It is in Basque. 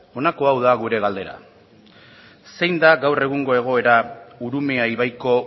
honako hau da gure galdera zein da gaur egungo egoera urumea ibaiko